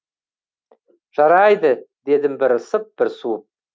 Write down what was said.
жарайды дедім бір ысып бір суып